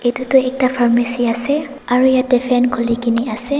edu tu ekta farmasy ase aro yatae fan khulikaena ase.